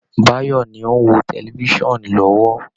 Báyọ̀ọ̀ ni ó ń wo tẹlifisan lọ́wọ́